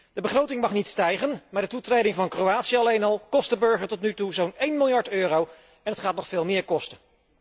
De begroting mag niet stijgen, maar de toetreding van Kroatië alleen al kost de burger tot nu toe zo'n 1 miljard euro en het gaat nog veel meer kosten.